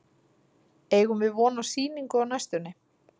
Eigum við von á sýningu á næstunni?